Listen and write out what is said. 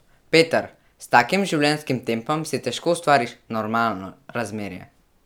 Peter: "S takim življenjskim tempom si težko ustvariš "normalno" razmerje.